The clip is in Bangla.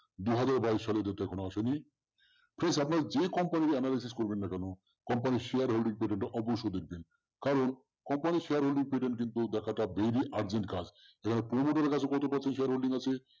দু হাজার বাইশ সালে কোন অসুবিধা নেই please আপনারা যে company তে analysis করবেন না কেন company র share holding period টা অবশ্যই দেখবেন। কারন companyshare holding period দেখাটা very urgent কাজ পুরনোদের কাছে কত percent share holding আছে